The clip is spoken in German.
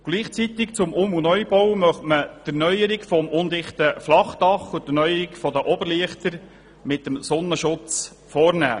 Gleichzeitig zum Um- und Neubau möchte man die Erneuerung des undichten Flachdaches und der Oberlichter mit einem Sonnenschutz vornehmen.